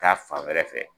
Taa fan wɛrɛ fɛ